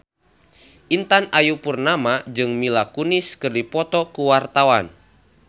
Intan Ayu Purnama jeung Mila Kunis keur dipoto ku wartawan